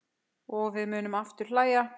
Og við munum aftur hlæja.